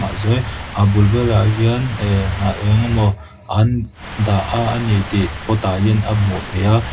a zei a bul velah hian ehh hnah eng emaw ahan dah a a ni tih pot ah hian a hmuh theih a.